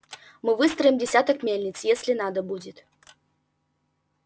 мы выстроим десяток мельниц если надо будет